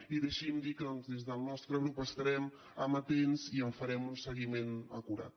i deixi’m dir que des del nostre grup hi estarem amatents i en farem un seguiment acurat